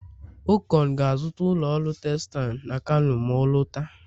okon ga-azụta ụlọ ọrụ textile na kano ma ọ lọta